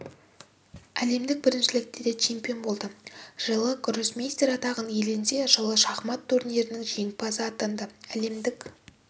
әлемдік біріншілікте де чемпион болды жылы гроссмейстер атағын иеленсе жылы шахмат турнирінің жеңімпазы атанды әлемдік